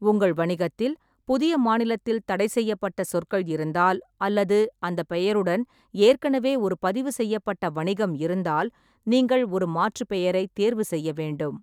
உங்கள் வணிகத்தில் புதிய மாநிலத்தில் தடைசெய்யப்பட்ட சொற்கள் இருந்தால், அல்லது அந்த பெயருடன் ஏற்கனவே ஒரு பதிவு செய்யப்பட்ட வணிகம் இருந்தால், நீங்கள் ஒரு மாற்று பெயரைத் தேர்வு செய்ய வேண்டும்.